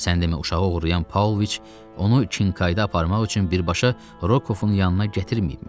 Sən demə uşağı oğurlayan Pavloviç onu Çinkayda aparmaq üçün birbaşa Rokovun yanına gətirməyibmiş.